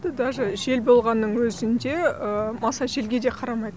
даже жел болғанның өзінде маса желге де қарамайды